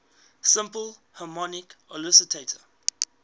simple harmonic oscillator